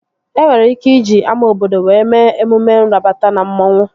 E nwere ike iji ama obodo were mee emume nrabata na mmanwu